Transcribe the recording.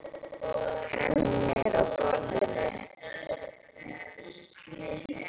Penninn er á borðinu.